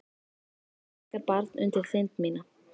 Það sparkar barn undir þind mína.